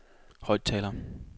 højttaler